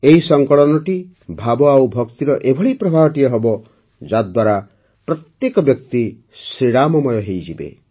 ଏହି ସଂକଳନଟି ଭାବ ଆଉ ଭକ୍ତିର ଏଭଳି ପ୍ରବାହଟିଏ ହେବ ଯାହାଦ୍ୱାରା ପ୍ରତ୍ୟେକ ବ୍ୟକ୍ତି ଶ୍ରୀରାମମୟ ହୋଇଯିବେ